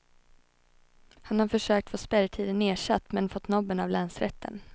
Han har försökt få spärrtiden nersatt, men fått nobben av länsrätten.